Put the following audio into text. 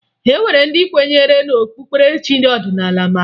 E nwere ndị kwenyere na okpukperechi ọdịnaala ma taa